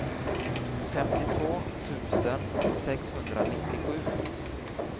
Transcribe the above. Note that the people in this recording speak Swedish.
femtiotvå tusen sexhundranittiosju